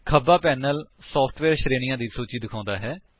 ਖੱਬਾ panel software ਸ਼ਰੇਣੀਆਂ ਦੀ ਸੂਚੀ ਦਿਖਾਉਂਦਾ ਹੈ